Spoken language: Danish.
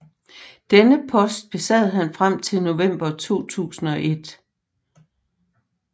Denne post besad han frem til november 2001